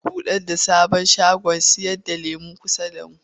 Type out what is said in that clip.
Za a buɗe sabon shagon sayarda lemo a kusa da mu.